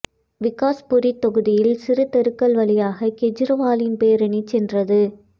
விகாஸ் புரித் தொகுதியில் சிறிய தெருக்கள் வழியாக கேஜரிவாலின் பேரணி சென்றது